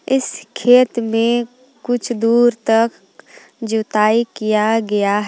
इस खेत में कुछ दूर तक जुताई किया गया--